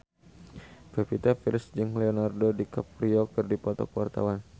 Pevita Pearce jeung Leonardo DiCaprio keur dipoto ku wartawan